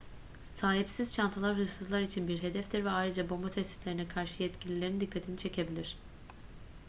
sahipsiz çantalar hırsızlar için bir hedeftir ve ayrıca bomba tehditlerine karşı yetkililerin dikkatini çekebilir